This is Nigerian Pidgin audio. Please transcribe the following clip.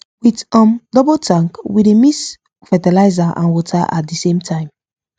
with um double tank we dey mix fertiliser and water at di same time